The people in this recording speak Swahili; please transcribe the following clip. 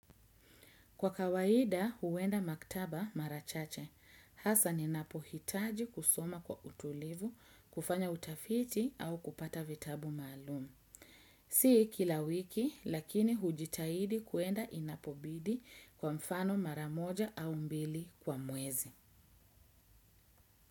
Kwa kawaida huwenda maktaba marachache. Hasa ninapohitaji kusoma kwa utulivu, kufanya utafiti au kupata vitabu maalumu. Sii kila wiki, lakini hujitahidi kuenda inapobidi kwa mfano maramoja au mbili kwa muezi.